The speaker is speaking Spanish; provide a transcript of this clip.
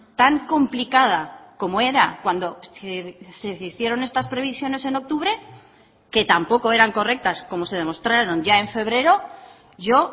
tan complicada como era cuando se hicieron estas previsiones en octubre que tampoco eran correctas como se demostraron ya en febrero yo